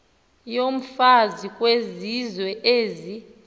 yomfazi kwizizwe ezi